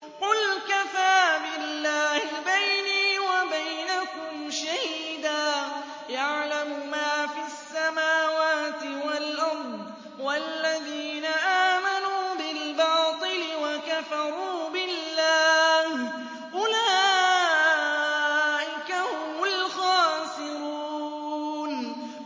قُلْ كَفَىٰ بِاللَّهِ بَيْنِي وَبَيْنَكُمْ شَهِيدًا ۖ يَعْلَمُ مَا فِي السَّمَاوَاتِ وَالْأَرْضِ ۗ وَالَّذِينَ آمَنُوا بِالْبَاطِلِ وَكَفَرُوا بِاللَّهِ أُولَٰئِكَ هُمُ الْخَاسِرُونَ